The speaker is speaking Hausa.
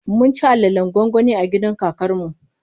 Mun ci alalen gwangwani a gidan kakar mu.